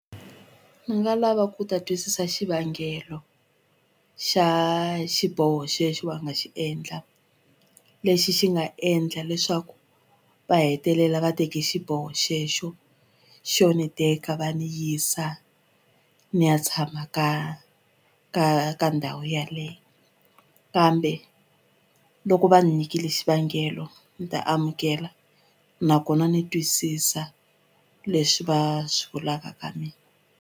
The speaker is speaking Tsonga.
Ni nga lava ku ta twisisa xivangelo xa xiboho xexo va nga xi endla lexi xi nga endla leswaku va hetelela va teke xiboho xexo xo ni teka va ni yisa ni ya tshama ka ka ka ndhawu yaleyo kambe loko va ni nyikile xivangelo ni ta amukela nakona ni twisisa leswi va swi vulaka ka mina.